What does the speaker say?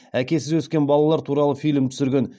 әкесіз өскен балалар туралы фильм түсірген